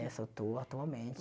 Essa eu estou atualmente.